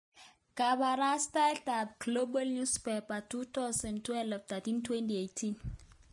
Kabarastaet ab Global Newspaper 1200 12/03/2018